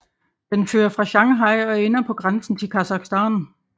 Den fører fra Shanghai og ender på grænsen til Kasakhstan